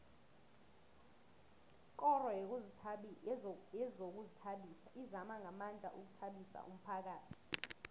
ikoro yezokuzithabisa izama ngamandla ukuthabisa umphakhathi